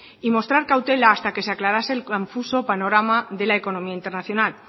y mostrar cautela hasta que se aclarase el confuso panorama de la economía internacional